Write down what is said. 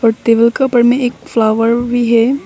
और टेबल के ऊपर में एक भी है।